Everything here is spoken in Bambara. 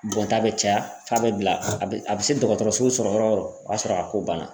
Bɔn ta bɛ caya f'a bɛ bila a bɛ se dɔgɔtɔrɔso sɔrɔ yɔrɔ yɔrɔ o y'a sɔrɔ a ko banna.